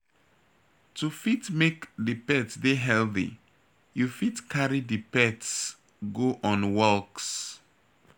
to fit make di pet dey healthy you fit carry di pets go on walks